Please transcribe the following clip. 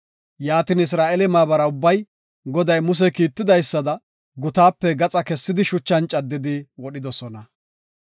Yaatin Isra7eele maabara ubbay Goday Muse kiitidaysada, gutaape gaxa kessidi shuchan caddidi wodhidosona.